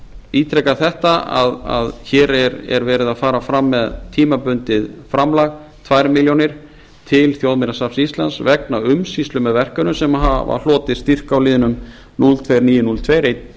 ítreka þetta að hér er verið að fara fram með tímabundið framlag tvær milljónir til þjóðminjasafns íslands vegna umsýslu með verkefnum sem hafa hlotið styrk á liðnum núll tvö þúsund níu hundruð og tvö